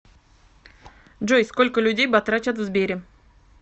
джой сколько людей батрачат в сбере